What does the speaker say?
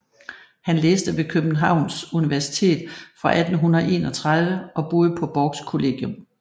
Han læste ved Københavns Universitet fra 1831 og boede på Borchs Kollegium